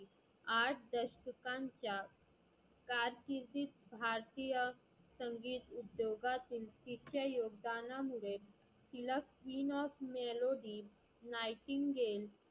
आठ दशकांच्या कारकिर्दीत भारतीय संगीत उद्योगातील तिच्या योगदाना मुळे तीला queen of melody nightingel